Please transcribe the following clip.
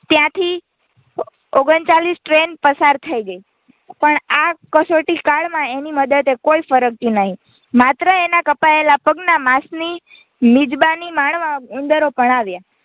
ત્યાંથી ઓગણચાલીસ Train પસાર થઇ ગઈ પણ આ કસોટી કાળમાં એની મદદે કોઈ ફરક્યું નહીં માત્ર એના કપાયેલા પગના માંસની મિજબાની માણવા ઉંદરો પણ આવ્યા.